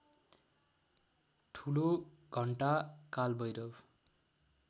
ठुलो घण्टा कालभैरव